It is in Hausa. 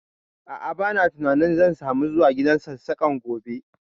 A'a, ba na tunanin zan samu zuwa gidan Sassaƙan gobe